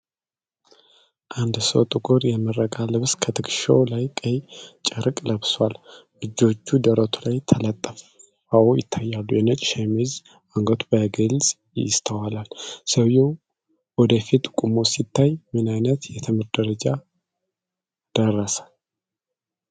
አንድ ሰው ጥቁር የምረቃ ልብስ፣ ከትከሻው ላይ ቀይ ጨርቅ ለብሷል። እጆቹ ደረቱ ላይ ተጠላልፈው ይታያሉ፤ የነጭ ሸሚዝ አንገቱ በግልጽ ይስተዋላል። ሰውዬው ወደ ፊት ቆሞ ሲታይ፣ ምን ዓይነት የትምህርት ደረጃ ደረሰ?